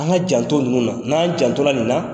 An ka janto ninnu na n'an janto la nin na